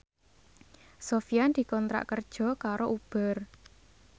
Sofyan dikontrak kerja karo Uber